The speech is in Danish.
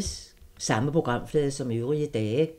Samme programflade som øvrige dage